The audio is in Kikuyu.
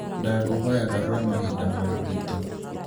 ndakūhoya garūra mahinda ma gwitū